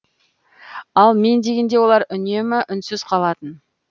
ал мен дегенде олар үнемі үнсіз қалатын